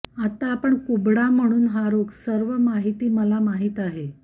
आता आपण कुबडा म्हणून हा रोग सर्व माहिती मला माहीत आहे